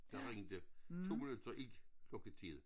Der ringede 2 minutter i lukketid